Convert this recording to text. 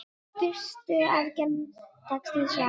Fyrstu aðgerð dagsins var lokið.